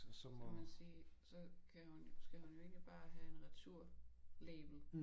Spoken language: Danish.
Så man sige så kan hun jo skal hun jo bare have en returlabel